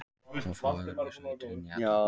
Og fá öðruvísi víddir inn í þetta.